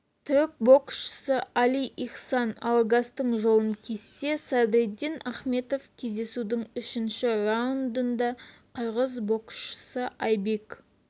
түрік боксшысы али ихсан алагастың жолын кессе садриддин ахмедов кездесудің үшінші раундында қырғыз боксшысы айбек